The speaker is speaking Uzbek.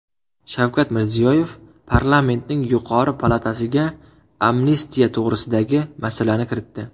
Shavkat Mirziyoyev parlamentning yuqori palatasiga amnistiya to‘g‘risidagi masalani kiritdi.